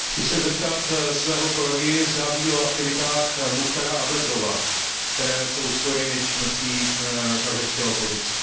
Chci se zeptat svého kolegy, zda ví o aktivitách Muchtara Abljazova, které jsou spojeny s činností kazašské opozice?